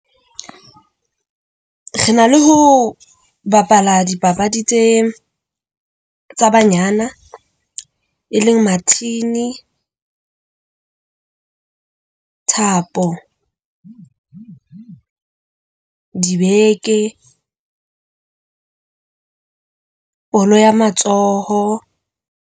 Re na le ho bapala dipapadi tse tsa banyana e leng mathini, thapo, dibeke, bolo ya matsoho.